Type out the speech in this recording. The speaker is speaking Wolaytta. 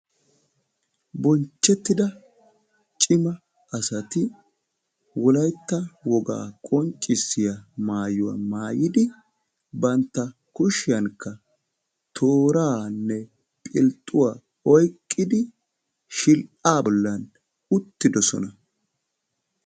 Bonchchettida cima asati wolayttaa wogaa qonccisiyaa maayuwaa maayidi bantta kushiyaankka tooraa philxxuwaa oykkidi shill"aa bolli uttidosona.